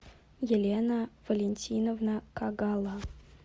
елена валентиновна кагала